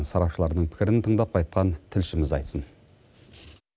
сарапшылардың пікірін тыңдап қайтқан тілшіміз айтсын